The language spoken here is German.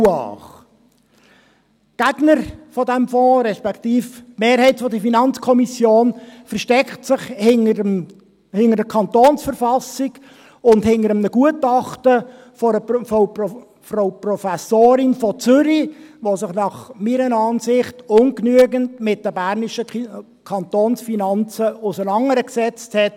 Die Gegner dieses Fonds, respektive die Mehrheit der FiKo, verstecken sich hinter der KV und hinter einem Gutachten einer Frau Professorin aus Zürich, die sich meiner Ansicht nach mit den bernischen Kantonsfinanzen ungenügend auseinandergesetzt hat.